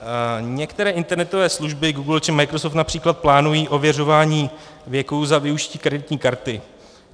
Některé internetové služby Google či Microsoft například plánují ověřování věku za využití kreditní karty.